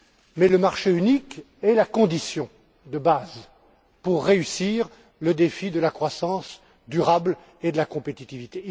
Mais le marché unique est la condition essentielle pour réussir le défi de la croissance durable et de la compétitivité.